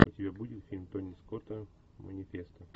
у тебя будет фильм тони скотта манифест